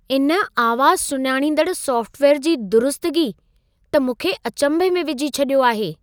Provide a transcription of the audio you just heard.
इन आवाज़ सुञाणींदड़ सॉफ़्टवेयर जी दुरुस्तगी त मूंखे अचंभे में विझी छॾियो आहे।